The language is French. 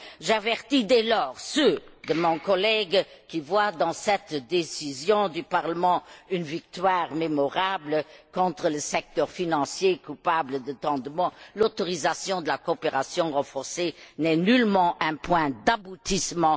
J'avertis, dès lors, ceux de mes collègues qui voient dans cette décision du Parlement une victoire mémorable contre le secteur financier coupable de tant de maux l'autorisation de la coopération renforcée n'est nullement un point d'aboutissement